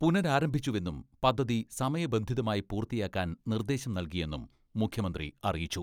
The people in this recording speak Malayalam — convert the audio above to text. പുനരാരംഭിച്ചുവെന്നും പദ്ധതി സമയബന്ധിതമായി പൂർത്തിയാക്കാൻ നിർദ്ദേശം നൽകിയെന്നും മുഖ്യമന്ത്രി അറിയിച്ചു.